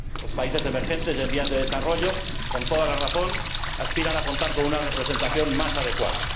Los países emergentes y en vías de desarrollo, con toda razón, aspiran a contar con una representación más adecuada.